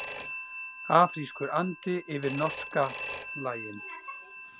Afrískur andi yfir norska lagin